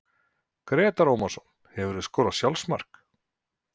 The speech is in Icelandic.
Grétar Ómarsson Hefurðu skorað sjálfsmark?